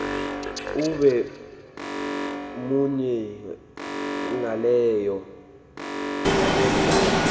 ube munye ngaleyo